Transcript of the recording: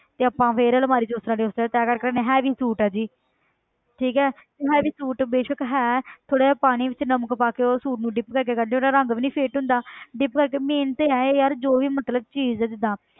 ਤੇ ਆਪਾਂ ਫਿਰ ਅਲਮਾਰੀ 'ਚ ਉਸ ਤਰ੍ਹਾਂ ਦੇ ਉਸ ਤਰ੍ਹਾਂ ਤੈਅ ਕਰਕੇ ਰੱਖ ਦਿਨੇ heavy suit ਹੈ ਜੀ ਠੀਕ ਹੈ ਤੇ heavy suit ਬੇਸ਼ਕ ਹੈ ਥੋੜ੍ਹਾ ਜਿਹਾ ਪਾਣੀ ਵਿੱਚ ਨਮਕ ਪਾ ਕੇ ਉਹ suit ਨੂੰ dip ਕਰਕੇ ਕੱਢ ਦੇ ਉਹਦਾ ਰੰਗ ਵੀ ਨੀ fate ਹੁੰਦਾ dip ਕਰਕੇ main ਤੇ ਇਹ ਹੈ ਯਾਰ ਜੋ ਵੀ ਮਤਲਬ ਚੀਜ਼ ਹੈ ਜਿੱਦਾਂ